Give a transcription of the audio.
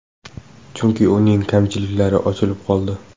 Chunki uning kamchiliklari ochilib qoldi.